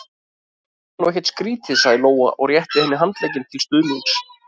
Það er nú ekkert skrítið, sagði Lóa og rétti henni handlegginn til stuðnings.